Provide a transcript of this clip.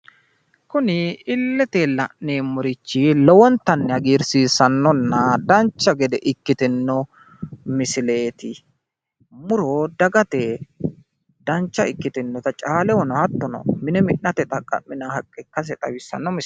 kuni illete la'neemorichi lowontanni hagiirsiisanonna dancha gede ikkitino misileeti. muro dagate dancha ikkitinota caalehono hattono mine mi'nate xaqqaminanni haqqe ikkase xawissanno misileeti.